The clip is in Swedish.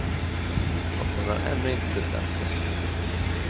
Och hon har ännu inte bestämt sig.